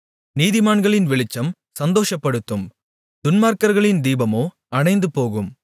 நீதிமான்களின் வெளிச்சம் சந்தோஷப்படுத்தும் துன்மார்க்கர்களின் தீபமோ அணைந்துபோகும்